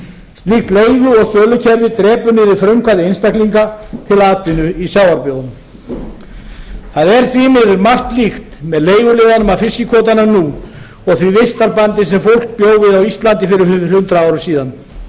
slíkt leigu og sölukerfi drepur niður frumkvæði einstaklinga til atvinnu í sjávarbyggðunum það er því miður margt líkt með leiguliðunum að fiskikvótunum nú og því vistarbandi sem fólk bjó við á íslandi fyrir hundrað árum síðan